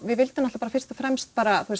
við vildum fyrst og fremst